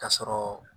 K'a sɔrɔ